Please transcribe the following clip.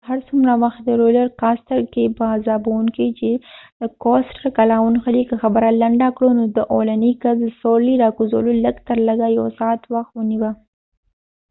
هر څومره وخت د رولر کاستر roller coasterکې په عذابوونکې دي چې کله ونښلی ، که خبره لنډه کړو نو د اولنی کس د سورلی را کوزولو لږ تر لږه یو ساعت وخت ونیوه